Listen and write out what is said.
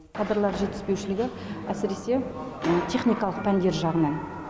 кадрлар жетіспеушілігі әсіресе техникалық пәндер жағынан